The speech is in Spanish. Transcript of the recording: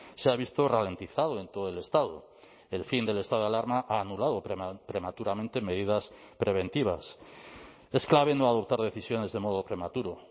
se ha visto ralentizado en todo el estado el fin del estado de alarma ha anulado prematuramente medidas preventivas es clave no adoptar decisiones de modo prematuro